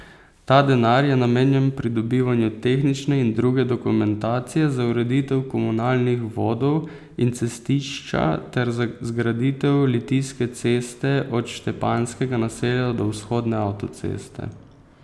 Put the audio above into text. Ta denar je namenjen pridobivanju tehnične in druge dokumentacije za ureditev komunalnih vodov in cestišča ter za zgraditev Litijske ceste od Štepanjskega naselja do vzhodne avtoceste.